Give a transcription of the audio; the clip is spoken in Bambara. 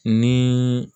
Ni